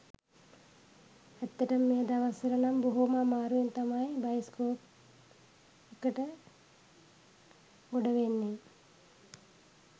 ඇත්තටම මේ දවස් වල නම් බොහොම අමාරුවෙන් තමයි බයිස්කෝප් එකට ගොඩවෙන්නේ.